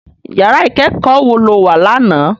Iyàrá ikèékò wó ló wá làná?